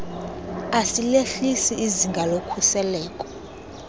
asilehlisi izinga lokhuseleko